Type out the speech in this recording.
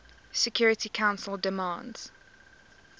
security council demands